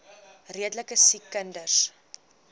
redelike siek kinders